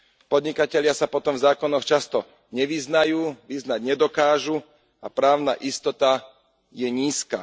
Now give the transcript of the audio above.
Podnikatelia sa potom v zákonoch často nevyznajú, vyznať nedokážu a právna istota je nízka.